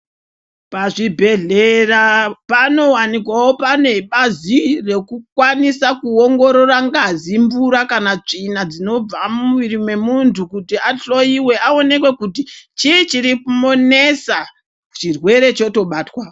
Pazvibhedhlera panowanikwawo pane bazi rekukwanisa kuongorora ngazi, mvura kana tsvina zvinobva mumwiri memuntu kuti ahloyiwe, aoneke kuti chii chirikumunesa, chirwere chotobatwa.